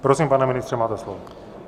Prosím, pane ministře, máte slovo.